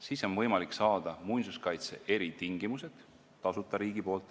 Siis on võimalik saada muinsuskaitse eritingimused riigilt tasuta.